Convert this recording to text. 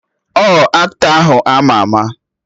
Ọ aktọ ahụ ama ama?